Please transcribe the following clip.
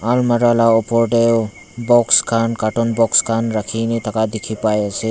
almaera la opor tae box khan carton box khan rakhina thaka dikhipaiase.